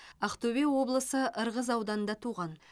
ақтөбе облысы ырғыз ауданында туған